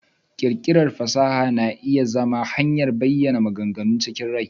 ƙirƙirar fasaha na iya zama hanyar ta bayana maganganu chikin rai.